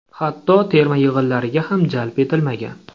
Hatto terma yig‘inlariga ham jalb etilmagan.